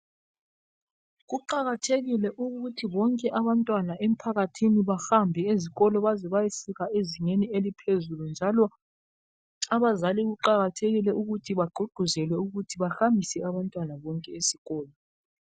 Kuqakathekile ukuthi bonke abantwana emphakathini bahambe ezikolo baze bayefika ezingeni eliphezulu njalo abazali kuqakathekile ukuthi bagqugquzelwe ukuthi bahambise abantwana bonke esikolo.